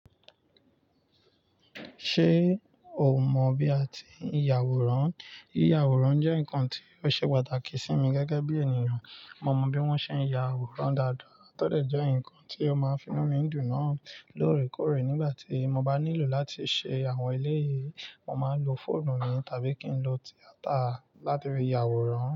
Ṣé o mọ̀ bí a ti ń ya àwòrán? Yíyàwòrán jẹ́ nǹkan tí ó ṣe pàtàkì sí mi gẹ́gẹ́ bí ènìyàn. Mo mọ bí wọ́n ṣe ń ya àwòrán dáadáa, tọ́dẹ̀ jẹ́ ǹkan tí ó máa finú mi dùn náà lóòrèkóòrè. Nígbà tí mo bá nílò láti ṣe àwọn eléyìí, mo máa lo fóònù mi tàbí kí n lo tíátà láti fi ya àwòrán.